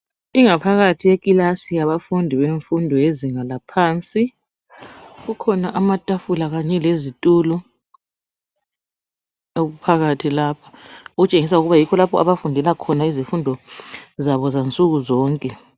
Ingaphakathi yekilasini yabafundi wefundo yezinga yaphansi, kukhona amathafula kanye lezithulo okuphakathi lapha okutshengisela ukuthi yikho lapho abafundela khona izimfundo zabo zansuku zonke.